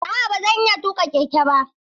A'a ba zan iya tuƙa keke ba.